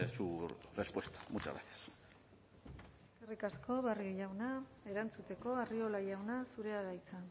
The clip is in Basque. su respuesta muchas gracias eskerrik asko barrio jauna erantzuteko arriola jauna zurea da hitza